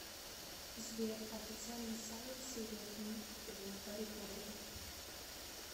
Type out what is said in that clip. сбер официальный сайт серия книг о гарри поттере